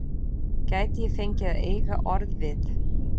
Gæti ég fengið að eiga orð við